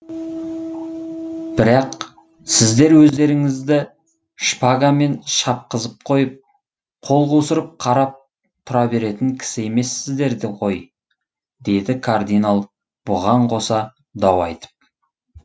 бірақ сіздер өздеріңізді шпагамен шапқызып қойып қол қусырып қарап тұра беретін кісі емессіздер ғой деді кардинал бұған қоса дау айтып